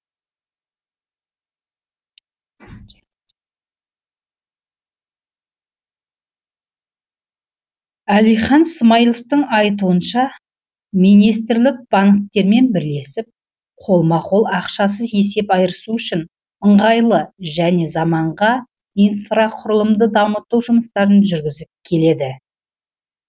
әлихан смайыловтың айтуынша министрлік банктермен бірлесіп қолма қол ақшасыз есеп айырысу үшін ыңғайлы және заманға инфрақұрылымды дамыту жұмыстарын жүргізіп келеді